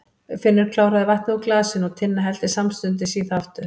Finnur kláraði vatnið úr glasinu og Tinna hellti samstundis í það aftur.